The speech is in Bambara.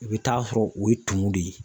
I be t'a sɔrɔ o ye tumu de ye